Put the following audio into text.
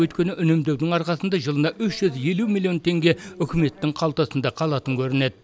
өйткені үнемдеудің арқасында жылына үш жүз елу миллион теңге үкіметтің қалтасында қалатын көрінеді